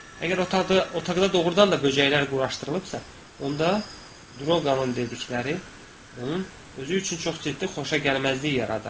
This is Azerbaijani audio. Əgər otaqda doğrudan da böcəklər quraşdırılıbsa, onda Drolqamın dedikləri, onun özü üçün çox ciddi xoşagəlməzlik yaradar.